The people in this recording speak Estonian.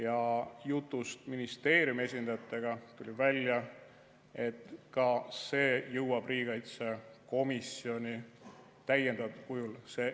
Ja jutust ministeeriumi esindajatega tuli välja, et ka see jõuab riigikaitsekomisjoni täiendatud kujul.